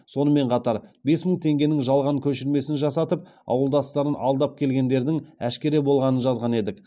сонымен қатар бес мың теңгенің жалған көшірмесін жасатып ауылдастарын алдап келгендердің әшкере болғанын жазған едік